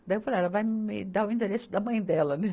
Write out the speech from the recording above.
Daí eu falei, ah ela vai me dar o endereço da mãe dela, né?